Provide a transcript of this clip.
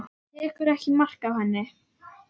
Tekur ekki mark á henni.